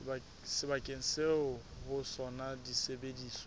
sebakeng seo ho sona disebediswa